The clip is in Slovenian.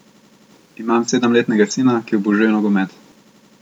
Imam sedemletnega sina, ki obožuje nogomet.